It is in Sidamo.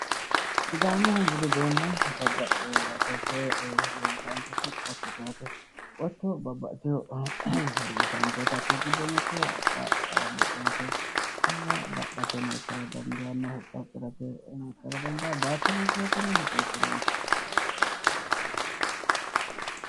Sidaamu budu uduunni babbaxinoho yaate. Koye misilete leeltaanketi qottote yaate. Qotto babbaxitino horo uuyitaanke yaate hakkuyi giddo mittu haqqe bociratenna dadhate horonsi'nara dandiinayi